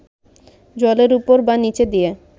জলের উপর বা নিচ দিয়া